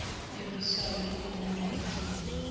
ebuyiswayo inenani elilingene